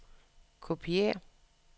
kopiér